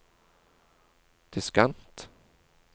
diskant